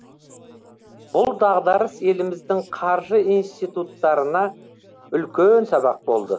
бұл дағдарыс еліміздің қаржы институттарына үлкен сабақ болды